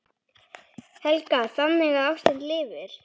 Helga: Þannig að ástin lifir?